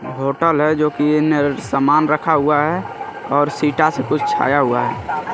Hotel है जो की समान रखा हुआ है और सिटा से कुछ छाया हुआ है।